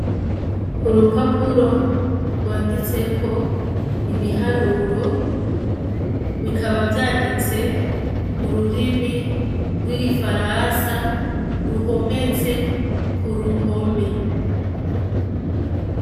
Urupapuro rwanditseko ibiharuro bikaba vyanditse mururimi rw'igifaransa ruhometse kuruhome.